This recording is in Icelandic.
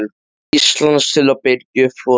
Íslands til að birgja upp flota sinn.